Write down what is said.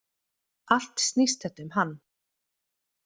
Allt snýst þetta um hann.